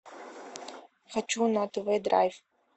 хочу на тв драйв